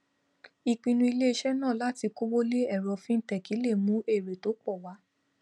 ìpinu ilé isé náà láti kówó lé èro fintech le mú èrè tó pò wá